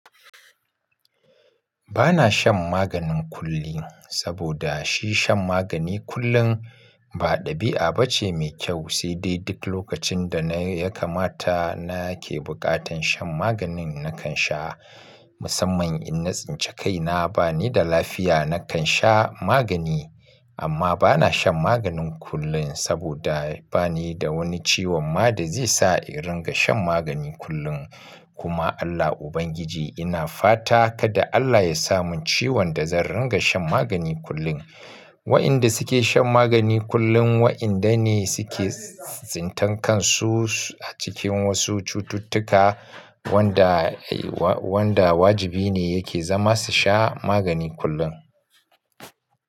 Ba na shan maganin kullin saboda shi shan magani kullum ba ɗabi'a bace mai kyau, sai dai duk lokacin da na ya kamata na ke buƙatan shan maganin na kan sha, musamman in na tsince kaina ba ni da lafiya na kan sha magani. Amma ba na shan maganin kullin saboda ba ni da wani ciwon ma da zai sa in ringa shan magani kullun. Kuma Allah Ubangiji ina fata kada Allah ya samun ciwon da zan ringa shan magani kullun. Waƴanda suke shan magani kullum waƴan dane suke tsintan kansu acikin wasu cututtuka wanda wajibi ne yake zama su sha magani kullum.